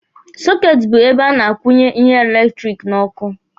Sọketi bụ ebe a na-akwụnye ihe eletiriki n'ọkụ.